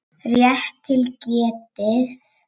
Rétt til getið.